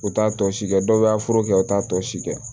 U t'a tɔ si kɛ dɔw b'a fura kɛ u t'a tɔ si kɛ